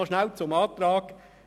Noch kurz zum Antrag